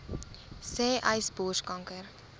sê uys borskanker